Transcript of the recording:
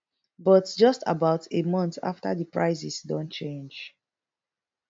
but just about a month afta di prices don change